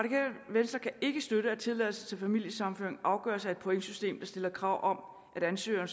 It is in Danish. venstre kan ikke støtte at tilladelse til familiesammenføring afgøres af et pointsystem der stiller krav om at ansøgeren